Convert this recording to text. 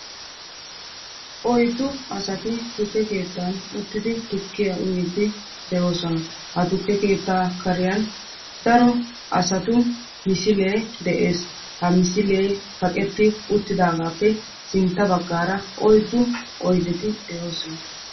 Oyiddu asati tukkee keettan uttidi tukkiyaa uyiiddi de'oosona. Ha tukke keettaa kariyan daro asati misilee de'es. Ha misilee kaqetti uttidaagaappe sintta baggaara oyiddu oyideti de'oosona.